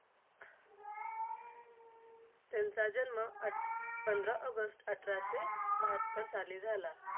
त्यांचा जन्म पंधरा ऑगस्ट अठराशे बहात्तर साली झाला.